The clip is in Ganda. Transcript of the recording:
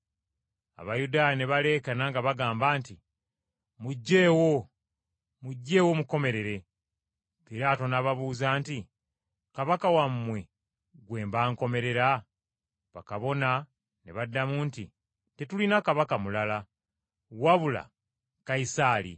Abayudaaya ne baleekaana nga bagamba nti, “Mukomerere, mukomerere!” Piraato n’ababuuza nti, “Kabaka wammwe gwe mba nkomerera?” Bakabona abakulu ne baddamu nti, “Tetulina kabaka mulala, wabula Kayisaali.”